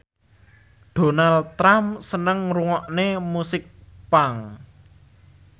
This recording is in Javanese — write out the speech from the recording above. Donald Trump seneng ngrungokne musik punk